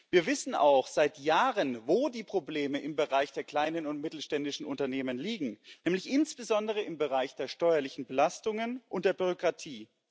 Wir wissen auch seit Jahren, wo die Probleme im Bereich der kleinen und mittelständischen Unternehmen liegen, nämlich insbesondere im Bereich der steuerlichen Belastungen und der Bürokratie.